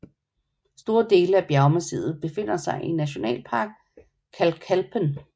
Store dele af bjergmassivet befinder sig i Nationalpark Kalkalpen